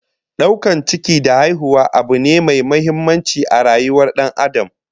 Daukar ciki da haihuwa abu ne mai muhimmanci a rayuwar Dan Adam